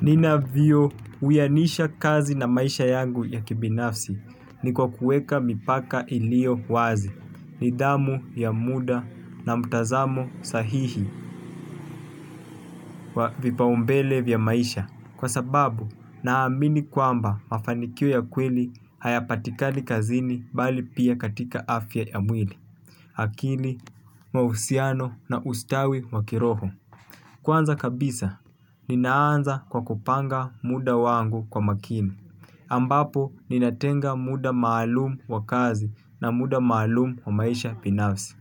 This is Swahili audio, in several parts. Nina vyo uyanisha kazi na maisha yangu ya kibinafsi niko kueka mipaka iliyo wazi. Nidamu ya muda na mtazamo sahihi wa vipao mbele vya maisha. Kwa sababu na amini kwamba mafanikio ya kweli haya patikali kazini bali pia katika afya ya mwili. Akili, mahusiano na ustawi wakiroho. Kwanza kabisa, ninaanza kwa kupanga muda wangu kwa makini. Ambapo, ninatenga muda maalumu wa kazi na muda maalumu wa maisha binafsi.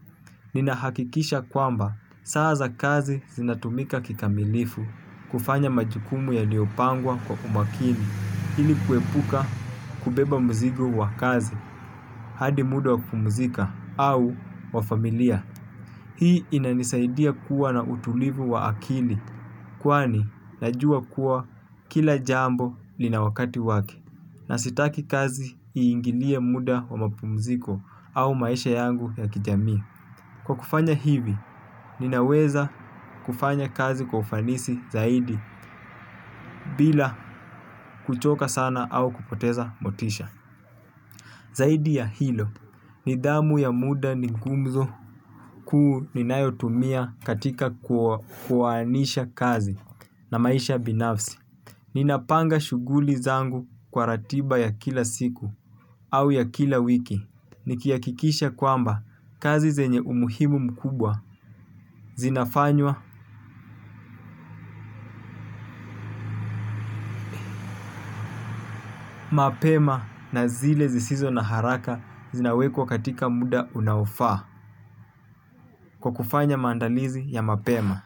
Ninahakikisha kwamba, saa za kazi zinatumika kikamilifu kufanya majukumu ya liyopangwa kwa umakini. Hili kuepuka kubeba mzigo wa kazi, hadi muda wa kupumzika au wa familia. Hii inanisaidia kuwa na utulivu wa akili, kwani najua kuwa kila jambo lina wakati wake. Na sitaki kazi ingilia muda wa mapumziko au maisha yangu ya kijami. Kwa kufanya hivi, ninaweza kufanya kazi kwa ufanisi zaidi bila kuchoka sana au kupoteza motisha. Zaidi ya hilo, nidhamu ya muda ni gumzo kuu ni nayotumia katika kuwaanisha kazi na maisha binafsi. Ninapanga shuguli zangu kwa ratiba ya kila siku au ya kila wiki. Nikiakikisha kwamba kazi zenye umuhimu mkubwa zinafanywa mapema na zile zisizo na haraka zinawekwa katika muda unaofaa kwa kufanya mandalizi ya mapema.